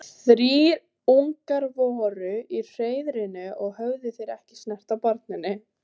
Þrír ungar voru í hreiðrinu og höfðu þeir ekki snert á barninu.